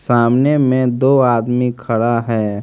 सामने में दो आदमी खड़ा है।